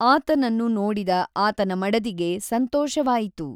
ಆತನನ್ನು ನೋಡಿದ ಆತನ ಮಡದಿಗೆ ಸಂತೋಷವಾಯಿತು.